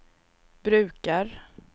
brukar